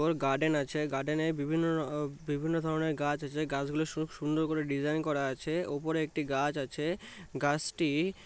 ওর garden আছে garden এ বিভি-ন্ন বিভিন্ন ধরণের গাছ আছে গাছ গুলো সুর সুন্দর করে ডিসাইন করা আছে ওপরে একটি গাছ আছে গাছটি --